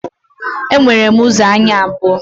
E nwere ụzọ anya abụọ